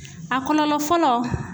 A kɔlɔlɔ fɔlɔ